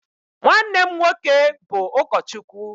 nwanne m nwoke bụ ụkọchukwu